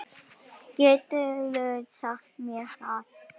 Geturðu sagt mér það?